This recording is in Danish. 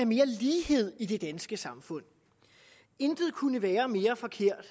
mere lighed i det danske samfund intet kunne være mere forkert